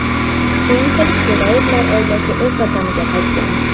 Keyinchalik Jo‘rayevlar oilasi o‘z vataniga qaytgan.